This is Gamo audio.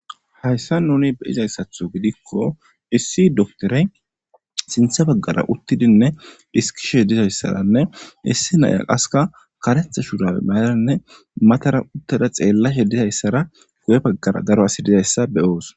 Hayssa nuni be7izayssatho gidikko issi doktore sintha baggara uttidinne diskishe dizayssaranne issi naya qaska karetha shurabe mayaranne matara uttada xeellashe dizayssara gu7e baggara daro asi dizayssa be7oos.